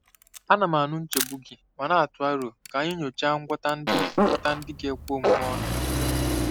Ana m anụ nchegbu gị ma na-atụ aro ka anyị nyochaa ngwọta ndị ngwọta ndị ga-ekwe omume ọnụ n'udo.